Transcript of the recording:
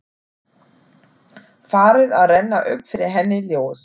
Farið að renna upp fyrir henni ljós.